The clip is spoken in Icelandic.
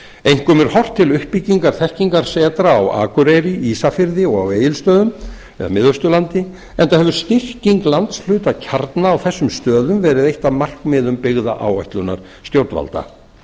einkum er horft til uppbyggingar þekkingarsetra á akureyri ísafirði og á egilsstöðum eða miðausturlandi enda hefur styrking landshlutakjarna á þessum stöðum verið eitt af markmiðum byggðaáætlunar stjórnvalda